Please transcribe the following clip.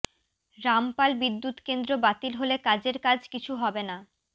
রামপাল বিদ্যুৎকেন্দ্র বাতিল হলে কাজের কাজ কিছু হবে না